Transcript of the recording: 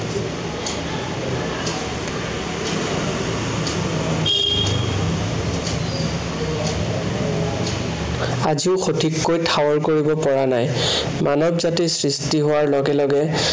আজিও সঠিককৈ ঠাৱৰ কৰিব পৰা নাই। মানৱ জাতিৰ সৃষ্টি হোৱাৰ লগে লগে